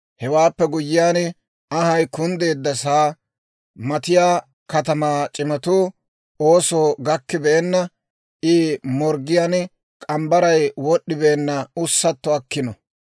Hewaappe guyyiyaan, anhay kunddeeddasa matattiyaa katamaa c'imatuu, oosoo gakkabeenna, I morggiyaan k'ambbaray wod'd'ibeenna ussatto akkino.